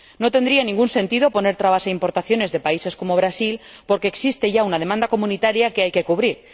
No tendría ningún sentido poner trabas a importaciones de países como Brasil, porque existe ya una demanda comunitaria que hay que cubrir